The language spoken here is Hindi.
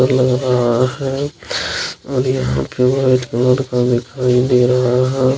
लग रहा है और यहाँ पे वाइट कलर का दिखाई दे रहा है।